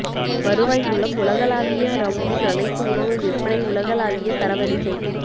வருவாய் மூலம் உலகளாவிய ரவுண்டிங் அனைத்து உணவு விற்பனை உலகளாவிய தரவரிசை